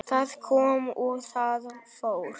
Það kom og það fór.